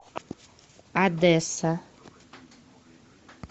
одесса